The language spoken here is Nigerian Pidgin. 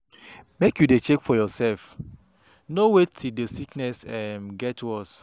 Make you dey check yoursef, no wait till di sickness um get worse.